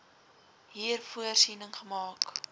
hier voorsiening gemaak